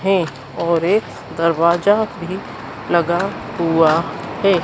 है और एक दरवाजा भी लगा हुआ है।